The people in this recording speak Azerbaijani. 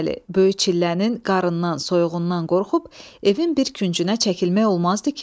Böyük çillənin qarın, soyuğundan qorxub evin bir küncünə çəkilmək olmazdı ki?